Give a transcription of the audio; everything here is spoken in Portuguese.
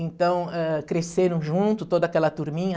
Então, ah, cresceram junto, toda aquela turminha.